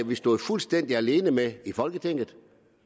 vi stod fuldstændig alene med i folketinget